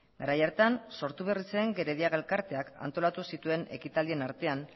garai hartan sortu berri zen gerediaga elkarteak antolatu zituen ekitaldien artean